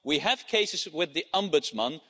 We have cases with the Ombudsman.